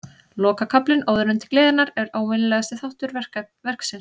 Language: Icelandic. Lokakaflinn, Óðurinn til gleðinnar, er óvenjulegasti þáttur verksins.